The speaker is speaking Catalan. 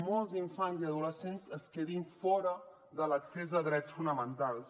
molts infants i adolescents es quedin fora de l’accés a drets fonamentals